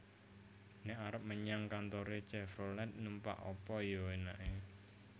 Nek arep menyang kantore Chevrolet numpak apa yo enake?